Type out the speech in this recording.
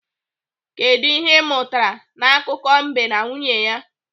Kedụ ihe ị mụtara n'akụkọ mbe na nwunye ya?